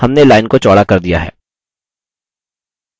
हमने line को चौड़ा कर दिया है